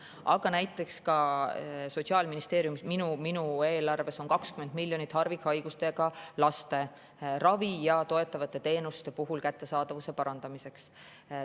Aga näiteks Sotsiaalministeeriumis, minu eelarves on ka 20 miljonit harvikhaigustega laste ravi ja toetavate teenuste kättesaadavuse parandamiseks.